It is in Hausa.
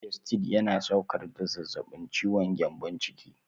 Gestid yana sauƙar da zafin ciwon gyambon ciki.